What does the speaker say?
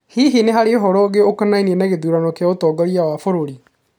Hihi nĩ harĩ ũhoro ũngĩ ũkonania na gĩthurano kĩa ũtongoria wa bũrũri?